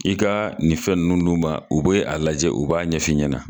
K'i ka nin nunnu d'u ma, u be a lajɛ, u ɲɛlajɛ u b'a ɲɛfin ɲɛna .